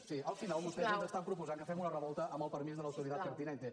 sí al final vostès ens estan proposant que fem una revolta amb el permís de l’ridad pertinente